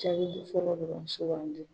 Jaabi fɔlɔ dɔrɔn sugandi.